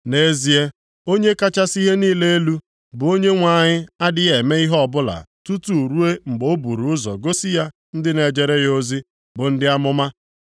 Nʼezie Onye kachasị ihe niile elu, bụ Onyenwe anyị adịghị eme ihe ọbụla tutu ruo mgbe o buru ụzọ gosi ya ndị na-ejere ya ozi bụ ndị amụma.